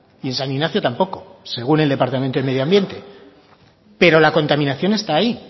y en san ignacio tampoco según el departamento de medio ambiente pero la contaminación está ahí